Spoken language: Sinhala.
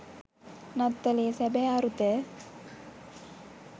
නත්තලේ සැබෑ අරුත